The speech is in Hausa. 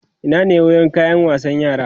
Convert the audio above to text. Ina ne wurin kayan wasan yara?